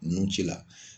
Nun ci la